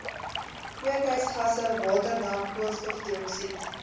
kweekhuisgasse waterdamp koolstofdioksied